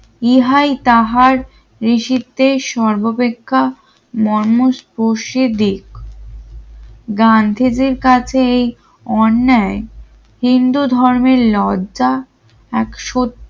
ইহাই তাহার রিসিভতে সর্বাপেক্ষা মর্ম স্পর্শে দিক গান্ধীজীর কাছে এই অন্যায় হিন্দু ধর্মের লজ্জা এক